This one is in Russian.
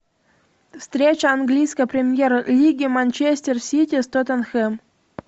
встреча английской премьер лиги манчестер сити с тоттенхэм